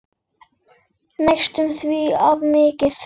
Næstum því of mikill.